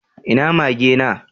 Ina mage na?